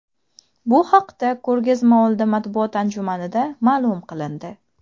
Bu haqda ko‘rgazmaoldi matbuot anjumanida ma’lum qilindi.